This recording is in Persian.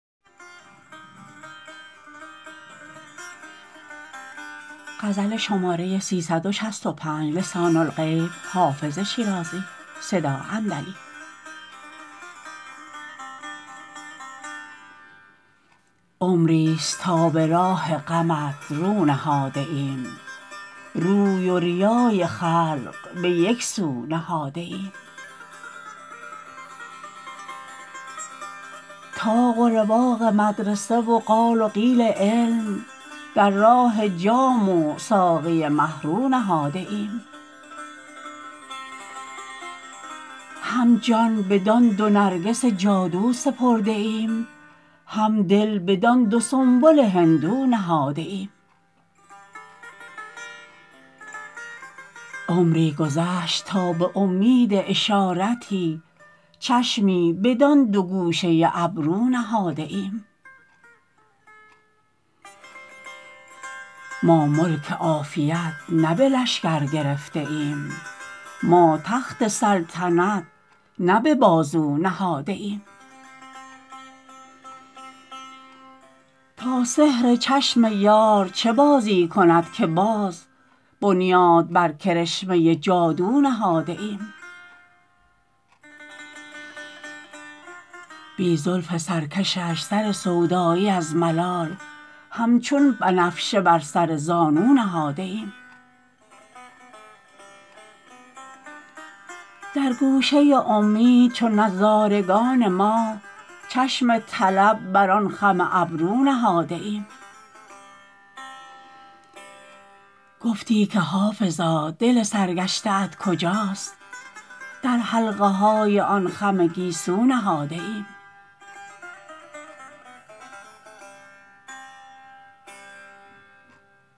عمریست تا به راه غمت رو نهاده ایم روی و ریای خلق به یک سو نهاده ایم طاق و رواق مدرسه و قال و قیل علم در راه جام و ساقی مه رو نهاده ایم هم جان بدان دو نرگس جادو سپرده ایم هم دل بدان دو سنبل هندو نهاده ایم عمری گذشت تا به امید اشارتی چشمی بدان دو گوشه ابرو نهاده ایم ما ملک عافیت نه به لشکر گرفته ایم ما تخت سلطنت نه به بازو نهاده ایم تا سحر چشم یار چه بازی کند که باز بنیاد بر کرشمه جادو نهاده ایم بی زلف سرکشش سر سودایی از ملال همچون بنفشه بر سر زانو نهاده ایم در گوشه امید چو نظارگان ماه چشم طلب بر آن خم ابرو نهاده ایم گفتی که حافظا دل سرگشته ات کجاست در حلقه های آن خم گیسو نهاده ایم